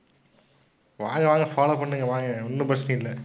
வாங்க, வாங்க follow பண்ணுங்க வாங்க ஒண்ணும் பிரச்சனை இல்லை.